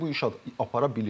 Bilirsən ki, bu iş apara bilir.